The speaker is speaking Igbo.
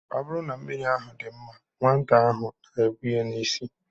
Ọ bụrụ na mmiri ahụ dị mma, nwata ahụ na-ebu ya n'isi.